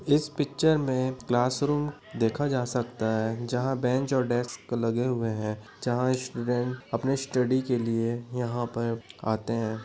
इस पिक्चर में क्लासरूम देखा जा सकता है जहाँ बेंच और डेस्क लगे हुए हैं जहाँ स्टूडेंट अपने स्टडी के लिए यहाँ पर आते हैं।